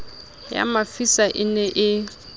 ya mafisa e ne e